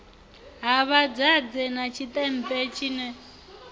ha vhadzadze na tshiṱempe tshine